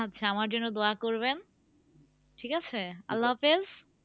আচ্ছা আমার জন্য দোয়া করবেন ঠিক আছে আল্লাহ হাফেজ।